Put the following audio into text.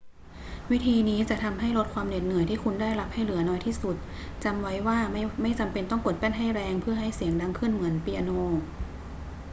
วิธีนี้จะทำให้ลดความเหน็ดเหนื่อยที่คุณได้รับให้เหลือน้อยที่สุด จำไว้ว่าไม่จำเป็นต้องกดแป้นให้แรงเพื่อให้เสียงดังขึ้นเหมือนเปียโน